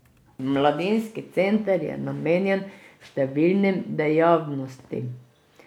Mladinski center je namenjen številnim dejavnostim.